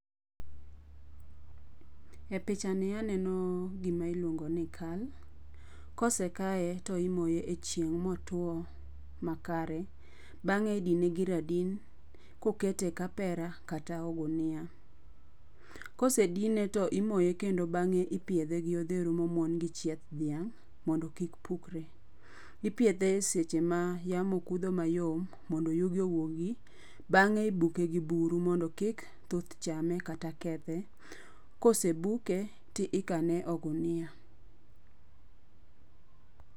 E pichani aneno gima iluongo ni kal. Kose kaye to imoye e chieng' motuo makare, bang'e idine gi radin kokete e kapera ka e ogunia. Kosedine to imoye kendo bang'e ipiedhe gi odheru momuon gi chieth dhiang' mondo kik pukre. Ipiedhe e seche ma yamo kudho mayom mondo yugi owuogi. Bang'e ibuke gi buru mondo kik thuth chame kata kethe. Kosebuke ti ikane e ogunia.